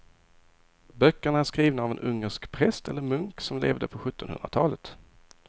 Böckerna är skrivna av en ungersk präst eller munk som levde på sjuttonhundratalet.